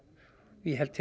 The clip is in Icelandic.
ég held til